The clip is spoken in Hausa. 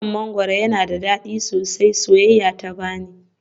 Wannan mangwaro yana da dadi sosai, soyayya ta bani.